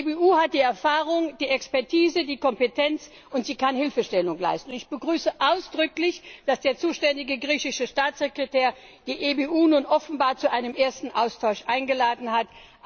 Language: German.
Die EBU hat die Erfahrung, die Expertise, die Kompetenz und sie kann Hilfestellung leisten. Und ich begrüße ausdrücklich, dass der zuständige griechische Staatssekretär die EBU nun offenbar zu einem ersten Austausch eingeladen hat.